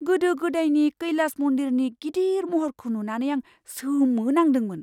गोदो गोदायनि कैलास मन्दिरनि गिदिर महरखौ नुनानै आं सोमोनांदोंमोन।